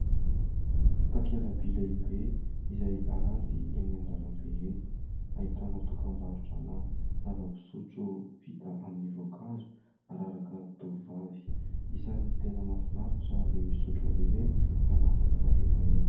Takelaby lehibe izay aranty eny an-dalambe eny, ahitana dokam-barotra na zava-pisotro vita amin'ny voankazo araraka tovovavy. Isan'ny tena mafinaritra ny misotro azy ireny, manafaka hetaheta.